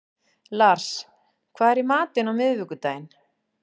Lars, hvað er í matinn á miðvikudaginn?